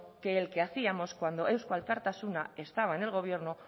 que el que hacíamos cuando eusko alkartasuna estaba en el gobierno